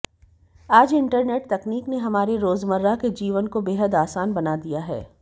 आज इंटरनेट तकनीक ने हमारे रोजमर्रा के जीवन को बेहद आसान बना दिया है